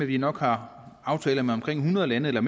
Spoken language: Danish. vi nok har aftaler med omkring hundrede lande eller